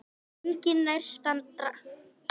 Enginn nærstaddra skildi neitt enda töluðu þeir þýsku.